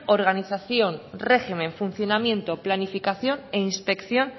organización régimen funcionamiento planificación e inspección